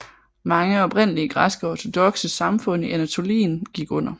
Mange oprindelige græske ortodokse samfund i Anatolien gik under